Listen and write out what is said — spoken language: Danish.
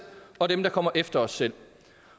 og for dem der kommer efter os selv